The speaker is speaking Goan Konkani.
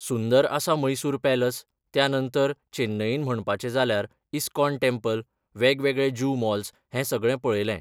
सुंदर आसा मैसूर पॅलस त्या नंतर चेन्नईन म्हणपाचें जाल्यार इस्कॉन टॅम्पल वेगवेगळे जू मॉल्स हें सगळें पळयलें.